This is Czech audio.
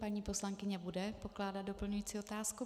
Paní poslankyně bude pokládat doplňující otázku.